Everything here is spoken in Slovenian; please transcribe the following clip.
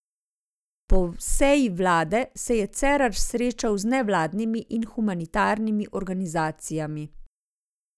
Po seji vlade se je Cerar srečal z nevladnimi in humanitarnimi organizacijami.